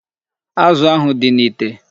Azụ ahụ dị n'ite.